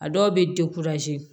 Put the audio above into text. A dɔw bɛ